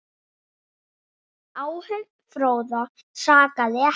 Áhöfn Fróða sakaði ekki.